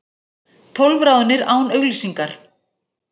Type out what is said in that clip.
Tólf ráðnir án auglýsingar